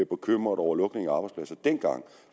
bekymret over lukningen af arbejdspladser dengang